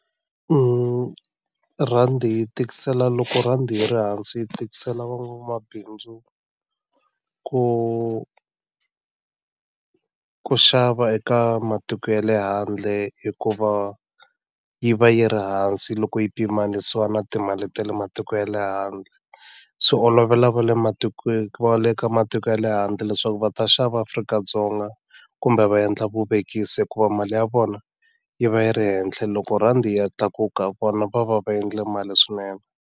rhandi yi tikisela loko rhandi yi ri hansi yi tikisela van'wamabindzu ku ku xava eka matiko ya le handle hikuva yi va yi ri hansi loko yi pimanisiwa na timali ta le matiko ya le handle swi olovela va le matikweni va le ka matiko ya le handle leswaku va ta xava Afrika-Dzonga kumbe va endla vuvekisi hikuva mali ya vona yi va yi ri henhla loko rhandi yi ya tlakuka vona va va va endle mali swinene.